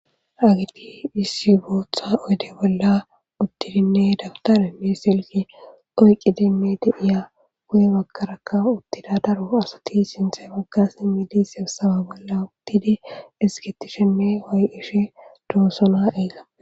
Ha asati asati issi oyde bolla uttidi daputarenne bi7ire oykkidi uttudosona guye baggaraka daro asati sinthe bagga simmidi tobbe bolla uttidi harataysa way7ishe doosona.